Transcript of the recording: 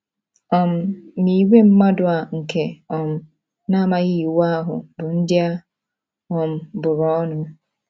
um Ma ìgwè mmadụ a nke um na - amaghị Iwu ahụ bụ ndị a um bụrụ ọnụ. ”